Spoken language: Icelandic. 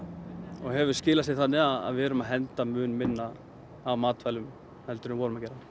og hefur skilað sér þannig að við erum að henda mun minna af matvælum heldur en við gerðum